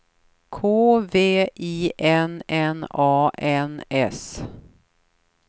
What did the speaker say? K V I N N A N S